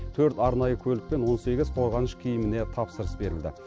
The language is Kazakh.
төрт арнайы көлік пен он сегіз қорғаныш киіміне тапсырыс берілді